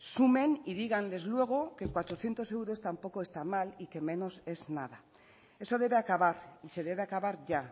sumen y díganles luego que cuatrocientos euros tampoco está mal y que menos es nada eso debe acabar y se debe acabar ya